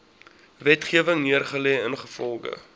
wetgewing neergelê ingevolge